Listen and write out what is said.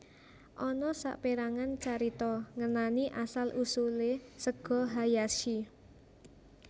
Ana saperangan carita ngenani asal usule sega hayashi